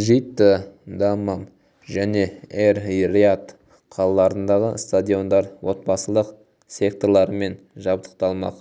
джидда даммам және эр-рияд қалаларындағы стадиондар отбасылық секторлармен жабдықталмақ